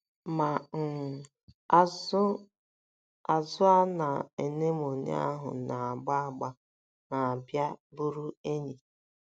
Ma um, azụ̀ a na anemone ahụ na - agba agba na - abịa bụrụ enyi.